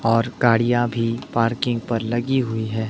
और गाड़ियां भी पार्किंग पर लगी हुई है।